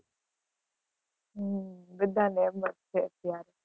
હમ બધાને એમ જ છે, ત્યાં જ